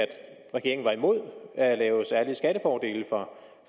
regeringen var imod at lave særlige skattefordele